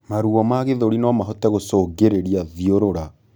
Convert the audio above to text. Maruo ma gĩthũri nomahote gũcũngĩrĩrĩa thiurura